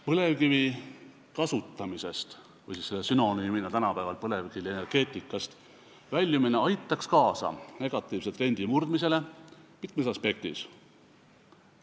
Põlevkivi kasutamisest või põlevkivienergeetikast väljumine aitaks kaasa negatiivse trendi murdmisele mitmes aspektis.